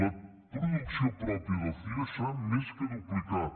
la producció pròpia del cire s’ha més que duplicat